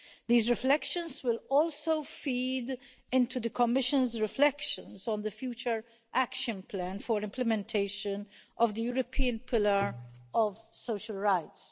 These reflections will also feed into the Commission's reflections on the future action plan for implementation of the European Pillar of Social Rights.